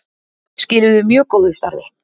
Skiluðu mjög góðu starfi